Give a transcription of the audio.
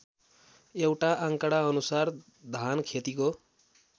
एउटा आँकडाअनुसार धानखेतीको